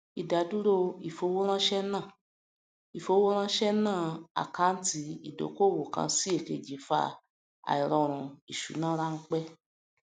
ìdádúró ìfowóránse náà ìfowóránse náà àkáńtì ìdókòwò kan sí èkejì fa àìròrun ìṣúná ránpẹ